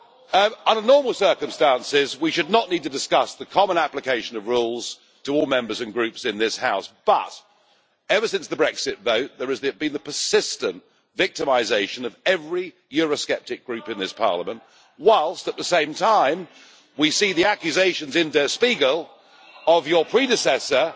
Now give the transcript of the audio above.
Under normal circumstances, we should not need to discuss the common application of rules to all Members and Groups in this House, but ever since the Brexit vote there has been persistent victimisation of every Eurosceptic Group in this Parliament, whilst, at the same time, we see the accusations in Der Spiegel of your predecessor,